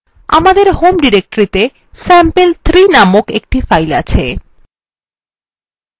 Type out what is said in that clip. আমাদের home ডিরেক্টরিতে sample3 named একটি file আছে